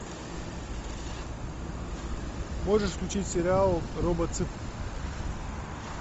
можешь включить сериал робоцып